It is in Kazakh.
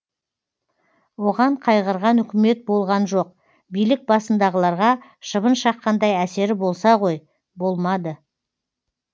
оған қайғырған үкімет болған жоқ билік басындағыларға шыбын шаққандай әсері болса ғой болмады